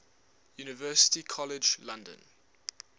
university college london